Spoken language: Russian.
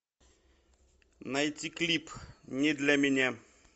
найти клип не для меня